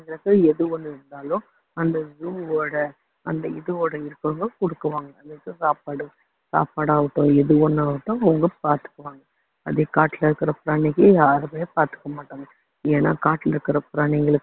அந்த இடத்துல எது ஒண்ணு இருந்தாலும் அந்த zoo ஓட அந்த இதோட இருக்கவங்க குடுக்குவாங்க சாப்பாடு சாப்பாடாகட்டும் எது வேணுமாகட்டும் அவங்க பாத்துக்குவாங்க அதே காட்டுல இருக்கிற பிராணிக்கு யாருமே பாத்துக்கமாட்டாங்க ஏன்னா காட்டுல இருக்கிற பிராணிகளுக்கு